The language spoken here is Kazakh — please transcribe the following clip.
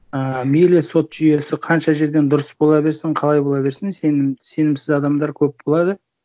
ыыы мейлі сот жүйесі қанша жерден дұрыс бола берсін қалай бола берсін сенімсіз адамдар көп болады